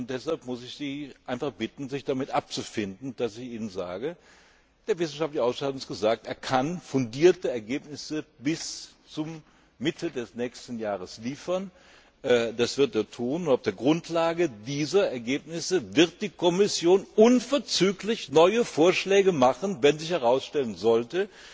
Deshalb muss ich Sie einfach bitten, sich damit abzufinden, dass ich Ihnen sage, der wissenschaftliche Ausschuss hat uns gesagt, er könne fundierte Ergebnisse bis zur Mitte des nächsten Jahres liefern. Das wird er tun. Auf der Grundlage dieser Ergebnisse wird die Kommission unverzüglich neue Vorschläge machen, wenn sich herausstellen sollte,